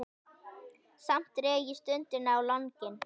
Samt dreg ég stundina á langinn.